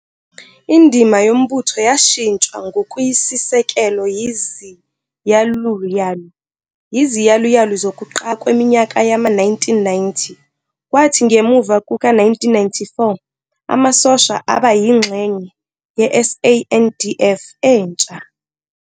Indima Yombutho yashintshwa ngokuyisisekelo yiziyaluyalu zokuqala kweminyaka yama-1990 kwathi ngemuva kuka1994 Amasosha aba yingxenye yeSANDF entsha.